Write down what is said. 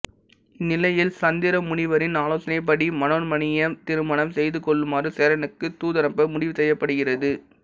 இந்நிலையில் சுந்தரமுனிவரின் ஆலோசனைப்படி மனோன்மணியைத் திருமணம் செய்து கொள்ளுமாறு சேரனுக்குத் தூதனுப்ப முடிவு செய்யப்படுகிறது